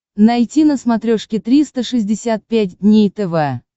найти на смотрешке триста шестьдесят пять дней тв